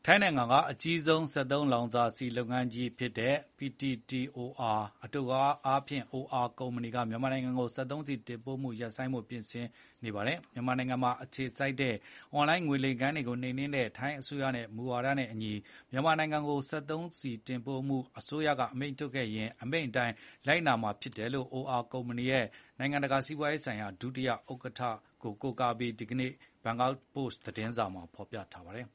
ိုင်းနိုင်ငံက အကြီးဆုံးစက်သုံးလောင်စာဆီလုပ်ငန်းကြီးဖြစ်တဲ့ PTTOR အတိုကောက် OR ကုမ္ပဏီက မြန်မာနိုင်ငံကို စက်သုံးဆီတင်ပို့မှု ရပ်ဆိုင်းထားဖို့ ပြင်ဆင်နေပါတယ်။ မြန်မာနိုင်ငံမှာအခြေစိုက်တဲ့ အွန်လိုင်းငွေလိမ်ဂိုဏ်းတွေကိုနှိမ်နှင်းနေတဲ့ ထိုင်းအစိုးရရဲ့ မူဝါဒနဲ့အညီ မြန်မာကိုစက်သုံးဆီတင်ပို့မှုရပ်ဖို့ အစိုးရကအမိန့်ထုတ်ရင် အမိန့်အတိုင်းလိုက်နာမှာဖြစ်တယ်လို့ OR ကုမ္ပဏီရဲ့ နိုင်ငံတကာစီးပွားရေးဆိုင်ရာ ဒုက္ကဋ္ဌ Racha Uthaichan ရဲ့ အပြောကိုကိုးကားပြီးဒီနေ့ထုတ် Bangkok Post သတင်းစာမှာ ဖော်ပြပါတယ်